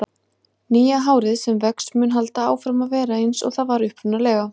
Nýja hárið sem vex mun halda áfram að vera eins og það var upprunalega.